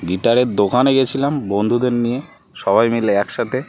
Guitar এর দোকানে গেছিলাম বন্ধুদের নিয়ে. সবাই মিলে এক সাথে।